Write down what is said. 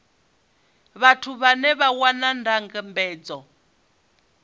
vhathu vhane vha wana ndambedzo